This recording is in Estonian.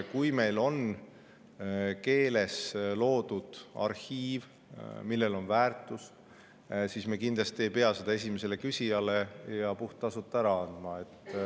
Kui meil on keeles loodud arhiiv, millel on väärtus, siis me kindlasti ei pea seda esimesele küsijale puhttasuta ära andma.